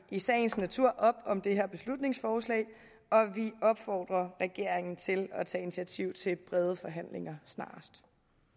i sagens natur op om det her beslutningsforslag og vi opfordrer regeringen til at tage initiativ til brede forhandlinger snarest